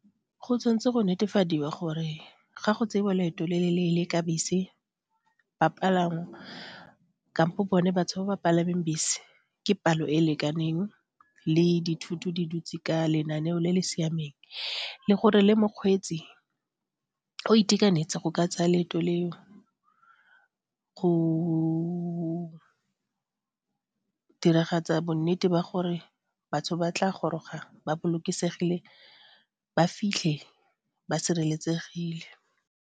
Go tshwanetse go netefadiwa gore ga go tseiwa leeto le le leele ka bese, bapalangwa kampo bone batho ba ba palameng bese ke palo e e lekaneng le dithoto di dutse ka lenaneo le le siameng le gore le mokgweetsi go itekanetse go ka tsaya leeto leo, go diragatsa bonnete ba gore batho ba tla goroga ba bolokesegile ba fitlhe ba sireletsegile.